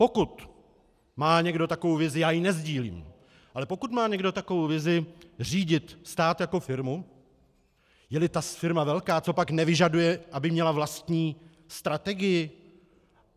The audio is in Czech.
Pokud má někdo takovou vizi - já ji nesdílím - ale pokud má někdo takovou vizi řídit stát jako firmu, je-li ta firma velká, copak nevyžaduje, aby měla vlastní strategii?